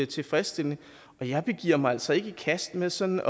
tilfredsstillende og jeg giver mig altså ikke i kast med sådan